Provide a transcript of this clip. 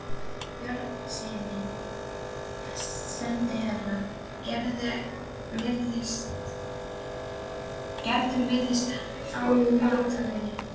Björnssyni sendiherra: Gerður virðist á batavegi.